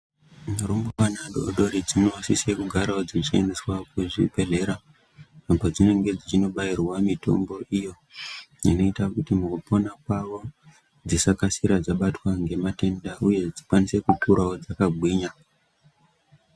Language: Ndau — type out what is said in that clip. Murumbwana midodori dzinosisa kuendeswa kuzvibhedhela padzinenge dzichibairwa mitombo iyo inoita kuti kupona kwavo dzisakasira dzabatwa nematenda uye dzikwanisewo kukura dzakagwinya